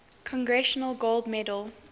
congressional gold medal